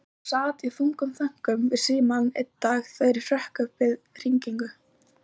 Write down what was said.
Ég sat í þungum þönkum við símann dag einn þegar ég hrökk upp við hringingu.